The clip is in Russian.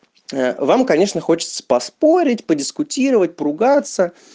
вам конечно хочется поспорить подискутировать поругаться